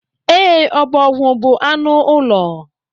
E, ọbọgwu bú anụ ụlọ.